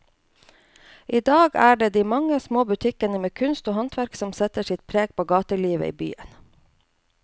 I dag er det de mange små butikkene med kunst og håndverk som setter sitt preg på gatelivet i byen.